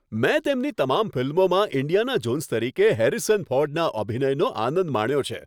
મેં તેમની તમામ ફિલ્મોમાં ઈન્ડિયાના જોન્સ તરીકે હેરિસન ફોર્ડના અભિનયનો આનંદ માણ્યો છે.